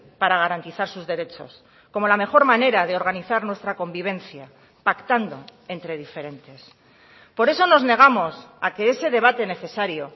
para garantizar sus derechos como la mejor manera de organizar nuestra convivencia pactando entre diferentes por eso nos negamos a que ese debate necesario